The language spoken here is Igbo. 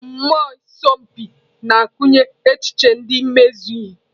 Mmụọ ịsọ mpi na-akụnye echiche nke imezu ihe.